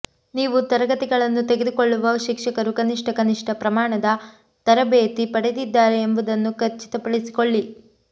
ನೀವು ತರಗತಿಗಳನ್ನು ತೆಗೆದುಕೊಳ್ಳುವ ಶಿಕ್ಷಕರು ಕನಿಷ್ಠ ಕನಿಷ್ಟ ಪ್ರಮಾಣದ ತರಬೇತಿ ಪಡೆದಿದ್ದಾರೆ ಎಂಬುದನ್ನು ಖಚಿತಪಡಿಸಿಕೊಳ್ಳಿ